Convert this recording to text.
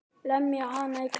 Lemja hann í klessu.